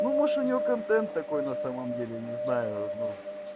ну может у нее контент такой на самом деле не знаю